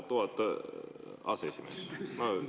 Oh!?